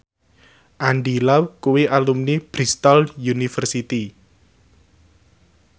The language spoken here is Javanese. Andy Lau kuwi alumni Bristol university